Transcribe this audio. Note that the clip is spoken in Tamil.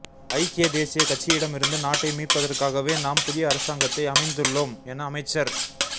ஐக்கிய தேசியக் கட்சியிடமிருந்து நாட்டை மீட்பதற்காகவே நாம் புதிய அரசாங்கத்தை அமைந்துள்ளோம் என அமைச்சர